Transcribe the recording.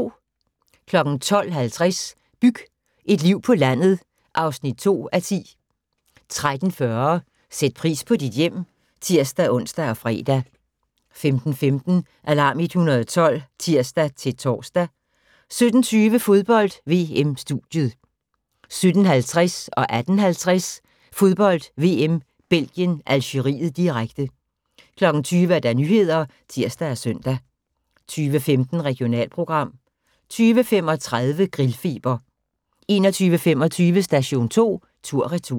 12:50: Byg et liv på landet (2:10) 13:40: Sæt pris på dit hjem (tir-ons og fre) 15:15: Alarm 112 (tir-tor) 17:20: Fodbold: VM - studiet 17:50: Fodbold: VM - Belgien-Algeriet, direkte 18:50: Fodbold: VM - Belgien-Algeriet, direkte 20:00: Nyhederne (tir og søn) 20:15: Regionalprogram 20:35: Grillfeber 21:25: Station 2 tur/retur